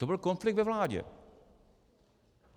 To byl konflikt ve vládě.